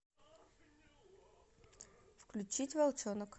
включить волчонок